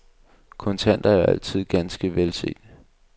Kontanter er jo altid ganske velset.